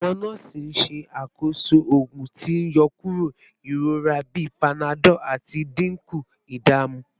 Awọn nọọsi n ṣakoso oogun ti n yọkuro irora bi panadol lati dinku idamu